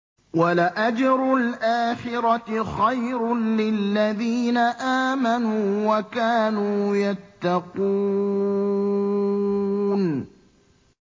وَلَأَجْرُ الْآخِرَةِ خَيْرٌ لِّلَّذِينَ آمَنُوا وَكَانُوا يَتَّقُونَ